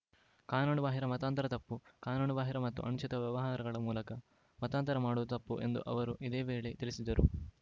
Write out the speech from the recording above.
ಕಾನೂನುಬಾಹಿರ ಮತಾಂತರ ತಪ್ಪು ಕಾನೂನುಬಾಹಿರ ಮತ್ತು ಅನುಚಿತ ವ್ಯವಹಾರಗಳ ಮೂಲಕ ಮತಾಂತರ ಮಾಡುವುದು ತಪ್ಪು ಎಂದು ಅವರು ಇದೇ ವೇಳೆ ತಿಳಿಸಿದರು